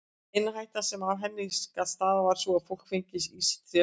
Eina hættan sem af henni gat stafað var sú að fólk fengi í sig tréflís.